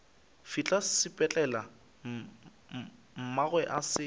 fihla sepetlele mmagwe a se